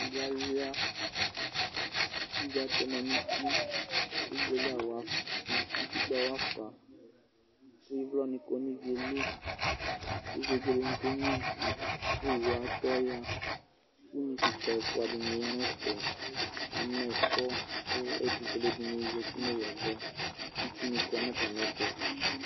Adɩ alʋɩa, kivi atɛmadʋ nuti, utikpǝ wafa, ɩvlɔ nɩ kɔ nivie li, kʋ vegele nɩ kenyuivi, kowu atɔ ya, kʋ dekǝ ɛfʋa dɩnɩ ya nɛfɛ amɛ ɛkɔ kɛtʋ fue alʋ ɛdɩnɩ zati nowu ava, itsu nɩ kɔ natamɩɛtʋ